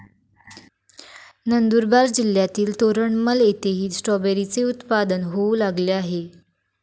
नंदुरबार जिल्हातील तोरणमल येथेही स्ट्रॉबेरीचे उत्पादन होऊ लागले आहे.